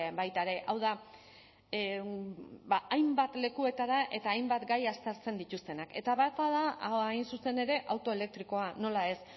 baita ere hau da hainbat lekuetara eta hainbat gai aztertzen dituztenak eta bata da hain zuzen ere auto elektrikoa nola ez